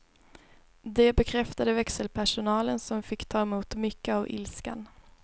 Det bekräftade växelpersonalen, som fick ta emot mycket av ilskan.